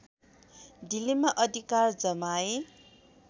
दिल्लीमा अधिकार जमाए